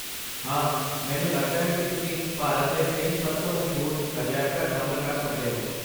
ਹਾਂ! ਮੈਨੂੰ ਲੱਗਦਾ ਹੈ ਕਿ ਤੁਸੀਂ ਭਾਰਤ ਦੇ ਤਿੰਨ ਸਭ ਤੋਂ ਮਸ਼ਹੂਰ ਅਜਾਇਬ ਘਰ ਸ਼ਾਮਲ ਕਰ ਸਕਦੇ ਹੋ।